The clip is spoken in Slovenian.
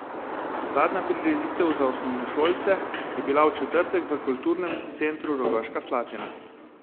Zadnja prireditev za osnovnošolce je bila v četrtek v Kulturnem centru Rogaška Slatina.